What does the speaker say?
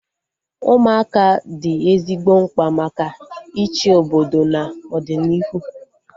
Ụmụaka dị ezigbo mkpa maka ịchị obodo na ọdịnihu